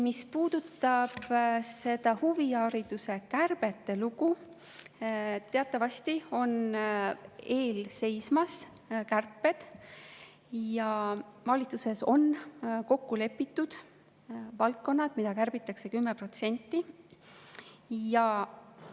Mis puudutab seda huvihariduse kärbete lugu, siis teatavasti on kärped ees seismas ja valitsuses on kokku lepitud valdkonnad, mida kärbitakse 10% võrra.